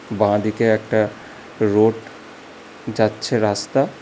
বাঁদিকে একটা রোড যাচ্ছে রাস্তা।